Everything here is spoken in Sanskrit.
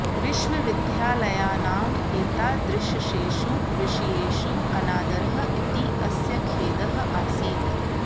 विश्वविद्यालयानाम् एतादृशेषु विषयेषु अनादरः इति अस्य खेदः आसीत्